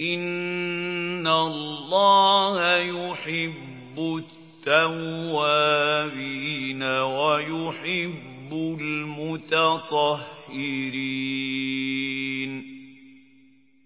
إِنَّ اللَّهَ يُحِبُّ التَّوَّابِينَ وَيُحِبُّ الْمُتَطَهِّرِينَ